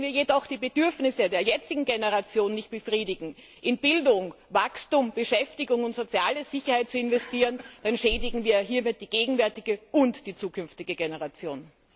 Wenn wir jedoch die Bedürfnisse der jetzigen Generation nicht befriedigen, in Bildung, Wachstum, Beschäftigung und soziale Sicherheit zu investieren, dann schädigen wir hiermit die gegenwärtige und die zukünftige Generation!